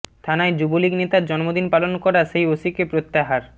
থানায় যুবলীগ নেতার জন্মদিন পালন করা সেই ওসিকে প্রত্যাহার